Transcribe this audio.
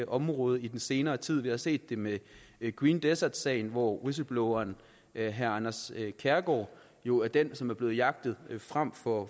området i den senere tid vi har set det med green desert sagen hvor whistlebloweren herre anders kærgaard jo er den som er blevet jagtet frem for